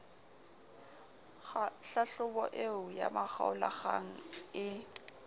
hlahlobo eo ya makgaolakgang ee